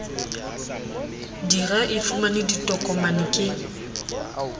dira e fumane ditokomane ke